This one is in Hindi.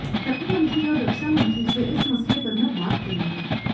प्रधानमंत्री और रक्षा मंत्री से इस मसले पर मैं बात करूंगा